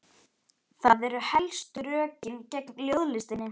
Það eru helstu rökin gegn ljóðlistinni.